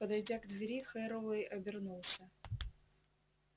подойдя к двери херроуэй обернулся